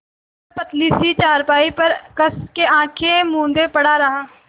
वह पतली सी चारपाई पर कस के आँखें मूँदे पड़ा रहा